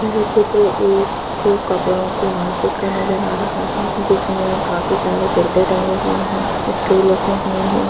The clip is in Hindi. ये चित्र एक कपड़ो के मार्केट का नजर आ रहा है जिसमे काफी सारे कुर्ते टंगे हुए है स्टूल रखे हुए है।